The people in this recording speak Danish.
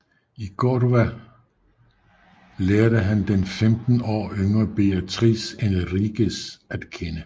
I Cordoba lærte han den femten år yngre Beatriz Enriquez at kende